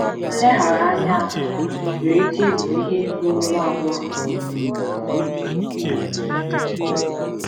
Nleghara anya ahụ nwere ike ịbụ ihe gburu nwa agbọghọ a.